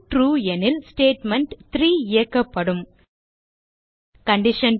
true எனில் statement இயக்கப்படும் condition